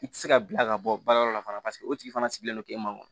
I tɛ se ka bila ka bɔ baara yɔrɔ la fana paseke o tigi fana sigilen don k'e ma